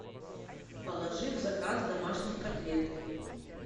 положи в заказ домашних котлет